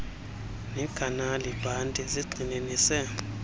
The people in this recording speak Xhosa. nekhanali bhanti zigxininise